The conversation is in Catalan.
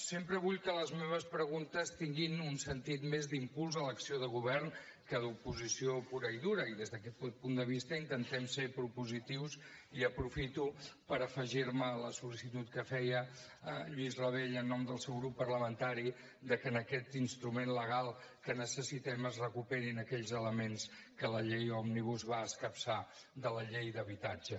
sempre vull que les meves preguntes tinguin un sentit més d’impuls a l’acció de govern que d’oposició pura i dura i des d’aquest punt de vista intentem ser propositius i aprofito per afegir me a la sol·licitud que feia lluís rabell en nom del seu grup parlamentari que en aquest instrument legal que necessitem es recuperin aquells elements que la llei òmnibus va escapçar de la llei d’habitatge